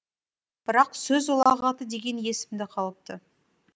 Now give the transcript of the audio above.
бірақ сөз ұлағаты дегені есімде қалыпты